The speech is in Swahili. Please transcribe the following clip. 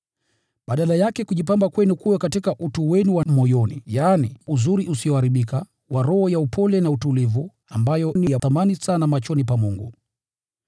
Badala yake, kujipamba kwenu kuwe katika utu wenu wa moyoni, yaani uzuri usioharibika wa roho ya upole na utulivu, ambayo ni ya thamani sana machoni pa Mungu.